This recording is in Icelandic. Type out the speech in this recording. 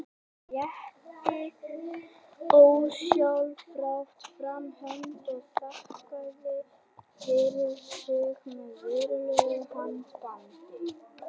Rétti ósjálfrátt fram hönd og þakkaði fyrir sig með virðulegu handabandi.